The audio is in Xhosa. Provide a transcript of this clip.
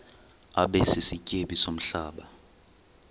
abe sisityebi somhlaba